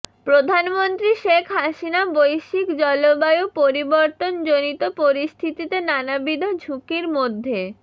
প্রধানমন্ত্রী শেখ হাসিনা বৈশ্বিক জলবায়ু পরিবর্তনজনিত পরিস্থিতিতে নানাবিধ ঝুঁকির মধ্যে